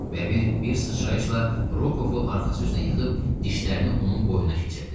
Bəbir bir sıçrayışla Rokovu arxası üstə yıxıb dişlərini onun boynuna keçirdi.